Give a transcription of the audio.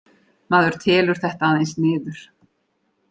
Maður telur þetta aðeins niður